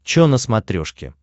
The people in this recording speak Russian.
чо на смотрешке